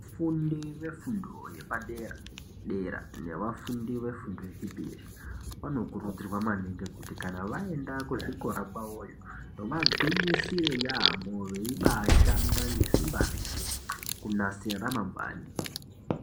Vafundi vefundo yepadera-dera, nevafundi vefundo yechipiri, vanokurudzirwa maningi kuti kanavaenda kuzvikora kwavoyo vagwinyisire yaamho veibaashanda ngesimba reshe, kunasire ramangwani.